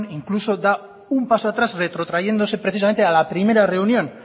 incluso da un paso atrás retrotrayéndose precisamente a la primera reunión